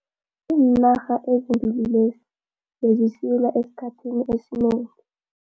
Iinarha ezimbili lezi bezisilwa esikhathini esinengi.